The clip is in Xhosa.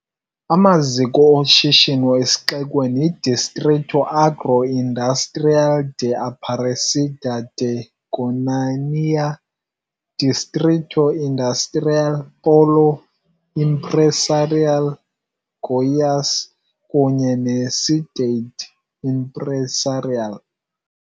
Amaziko oshishino esixekweni yiDistrito Agroindustrial de Aparecida de Goiânia, Daiag, Distrito Industrial, Dimag, Pólo Empresarial Goiás kunye neCidade Empresarial.